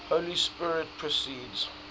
holy spirit proceeds